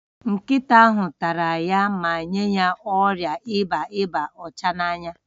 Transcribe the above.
Nkịta ahụ tara ya ma nye ya ọrịa ịba ịba ọcha n'anya